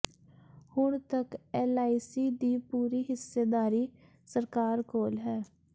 ਹੁਣ ਤੱਕ ਐੱਲਆਈਸੀ ਦੀ ਪੂਰੀ ਹਿੱਸੇਦਾਰੀ ਸਰਕਾਰ ਕੋਲ ਹੈ